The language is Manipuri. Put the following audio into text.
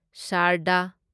ꯁꯥꯔꯗꯥ